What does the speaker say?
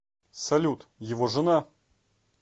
салют его жена